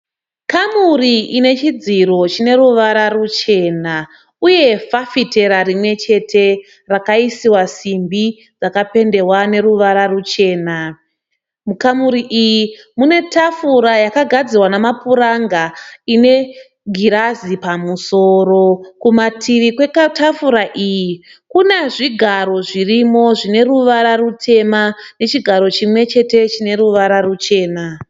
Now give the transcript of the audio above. Kamuri inechidziro chine ruvara ruchena uye fafitera rimwechete rakaisiwa simbi dzakapendewa neruvara ruchena. Mukamuri iyi mune tafura yakagadzirwa nemapuranga ine girazi pamusoro. Kumativi kwetafura iyi kuna zvigaro zvirimo zvine ruvara rutema nechigaro chimwechete chine ruvara ruchena.